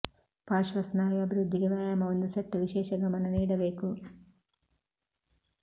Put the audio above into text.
ಪಾರ್ಶ್ವ ಸ್ನಾಯು ಅಭಿವೃದ್ಧಿಗೆ ವ್ಯಾಯಾಮ ಒಂದು ಸೆಟ್ ವಿಶೇಷ ಗಮನ ನೀಡಬೇಕು